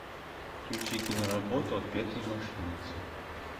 включи киноработу отпетые мошенницы